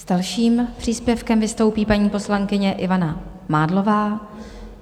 S dalším příspěvkem vystoupí paní poslankyně Ivana Mádlová.